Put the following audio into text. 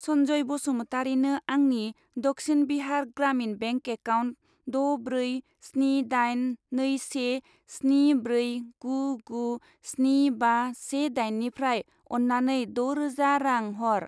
सनजय बसुमतारिनो आंनि Dakshin Bihar Gramin bank account द' ब्रै स्नि दाइन नै से स्नि ब्रै गु गु स्नि बा से दाइननिफ्राय अन्नानै द' रोजा रां हर।